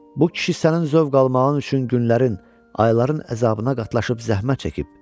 Bu kişi sənin zövq almağın üçün günlərin, ayların əzabına qatlaşıb zəhmət çəkib.